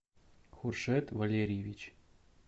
хушет валерьевич